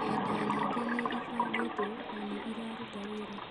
Ng’enda nyingĩ nĩ ibangĩtwo na nĩ iraruta wĩra.